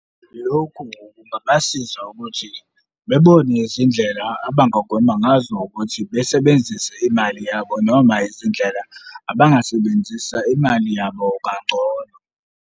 Lokhu-ke kungabasiza ukuthi bebone izindlela abangagwema ngazo ukuthi besebenzise imali yabo noma izindlela abangasebenzisa imali yabo kangcono.